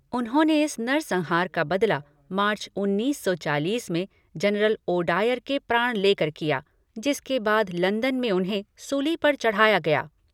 उन्होंने इस नर संहार का बदला मार्च उन्नीस सौ चालीस में जरनल ओडायर के प्राण लेकर लिया, जिसके बाद लंदन में उन्हें सूली पर चढ़ाया गया।